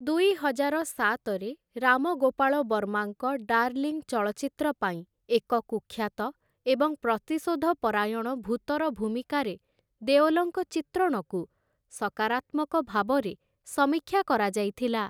ଦୁଇହଜାର ସାତରେ, ରାମ ଗୋପାଳ ବର୍ମାଙ୍କ 'ଡାର୍ଲିଂ' ଚଳଚ୍ଚିତ୍ର ପାଇଁ ଏକ କୁଖ୍ୟାତ ଏବଂ ପ୍ରତିଶୋଧପରାୟଣ ଭୂତର ଭୂମିକାରେ ଦେଓଲଙ୍କ ଚିତ୍ରଣକୁ ସକରାତ୍ମକ ଭାବରେ ସମୀକ୍ଷା କରାଯାଇଥିଲା ।